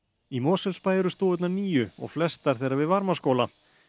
í Mosfellsbæ eru stofurnar níu og flestar þeirra við Varmárskóla